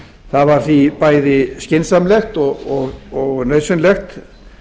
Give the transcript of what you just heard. það var því bæði skynsamlegt og nauðsynlegt